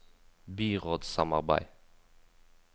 byrådssamarbeid